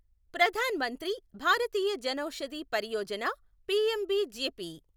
Pradhan Mantri Bharatiya Janaushadhi Pariyojana' PMBJP